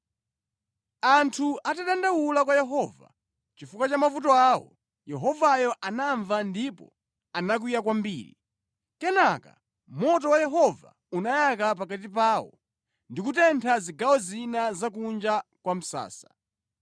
Anthu atadandaula kwa Yehova chifukwa cha mavuto awo, Yehovayo anamva ndipo anakwiya kwambiri. Kenaka moto wa Yehova unayaka pakati pawo ndi kutentha zigawo zina za kunja kwa msasa.